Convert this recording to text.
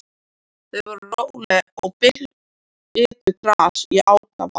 Þau voru róleg og bitu gras í ákafa.